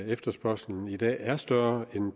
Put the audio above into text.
efterspørgslen i dag er større end